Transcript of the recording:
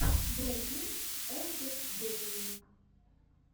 бруклин энд бэйли